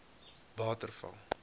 waterval